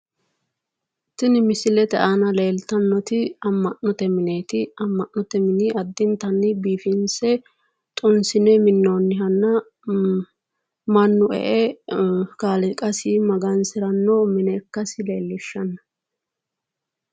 Tini misilete aana leeltannoti amma'note mineeti. Amma'note mini addintanni biifinse xunsine minnoonnihanna mannu e"e kaaliiqasi magansiranno mine ikkasi leellishshanno.